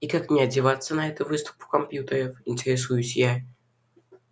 и как мне одеваться на эту выставку компьютеров интересуюсь я